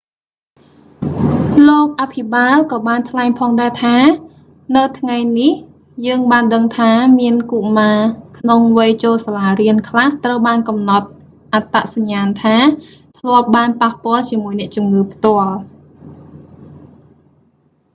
លោកអភិបាលក៏បានថ្លែងផងដែរថា នៅថ្ងៃនេះ យើងបានដឹងថា មានកុមារក្នុងវ័យចូលសាលារៀនខ្លះត្រូវបានកំណត់អត្តសញ្ញាណថា ធ្លាប់បានប៉ះពាល់ជាមួយអ្នកជំងឺផ្ទាល់